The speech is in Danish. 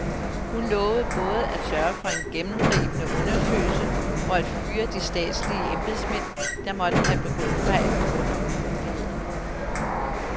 Hun lovede både at sørge for en gennemgribende undersøgelse og at fyre de statslige embedsmænd, der måtte have begået fejl under urolighederne.